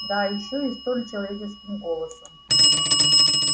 да ещё и столь человеческим голосом